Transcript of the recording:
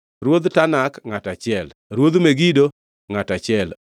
Ruodh Tanak, ngʼato achiel, Ruodh Megido, ngʼato achiel,